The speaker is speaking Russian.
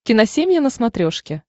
киносемья на смотрешке